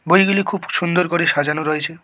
বইগুলি খুব সুন্দর করে সাজানো রয়েছে।